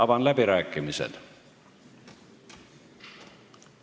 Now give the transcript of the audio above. Avan läbirääkimised.